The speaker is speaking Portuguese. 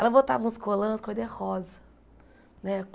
Ela botava uns colãs cor de rosa, né?